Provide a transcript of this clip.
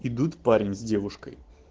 идут парень с девушкой